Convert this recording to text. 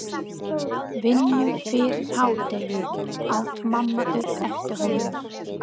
Vinnu fyrir hádegi, át mamma upp eftir honum.